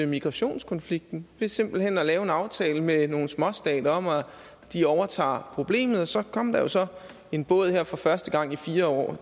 migrationskonflikten ved simpelt hen at lave en aftale med nogle småstater om at de overtager problemet så kom der jo så en båd her for første gang i fire år og